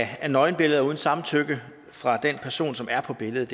af nøgenbilleder uden samtykke fra den person som er på billedet